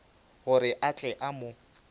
gore a tle a mo